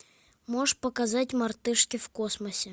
можешь показать мартышки в космосе